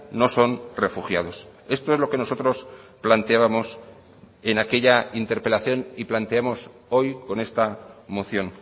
no son refugiados esto es lo que nosotros planteábamos en aquella interpelación y planteamos hoy con esta moción